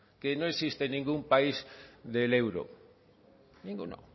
que no existe ningún país del euro ninguno